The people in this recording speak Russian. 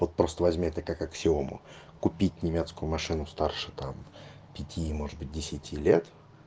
вот просто возьми это как аксиому купить немецкую машину старше там пяти может быть десяти лет